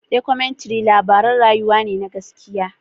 Dokumentary labaran rayuwa ne na gaske.